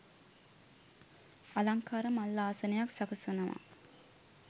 අලංකාර මල් ආසනයක් සකසනවා